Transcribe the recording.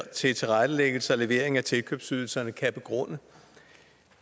til tilrettelæggelse og levering af tilkøbsydelserne kan begrunde